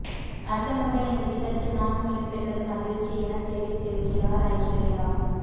அர்த்தமுள்ள இந்த திட்டத்தில் நானும் இடம் பெற்றது மகிழ்ச்சி எனத் தெரிவித்திருக்கிறார் ஐஸ்வர்யா